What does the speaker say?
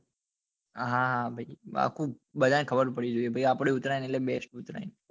હા બધા ને ખબર પડવી જોઈએ ભાઈ આપડી ઉતરાયણ એટલે બેસ્ટ ઉતરાયણ